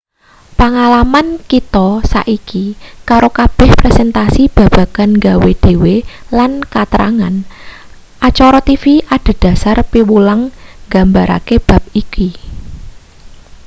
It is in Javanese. pangalaman kita saiki karo kabeh presentasi babagan nggawe-dhewe lan katrangan acara tv adhedhasar piwulang nggambarake bab iki